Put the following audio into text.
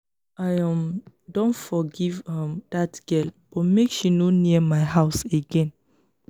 i um don forgive um dat girl but make she no near my house again.